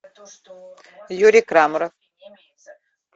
юрий крамаров